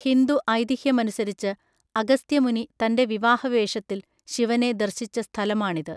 ഹിന്ദു ഐതിഹ്യമനുസരിച്ച്, അഗസ്ത്യ മുനി തൻ്റെ വിവാഹ വേഷത്തിൽ ശിവനെ ദർശിച്ച സ്ഥലമാണിത്.